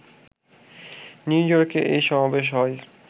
new ইয়র্কে এই সমাবেশ হয়